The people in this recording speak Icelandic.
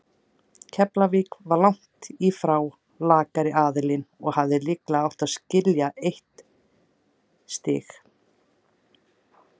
Keflavík var langt í frá lakari aðilinn og hefði líklega átt skilið eitt stig.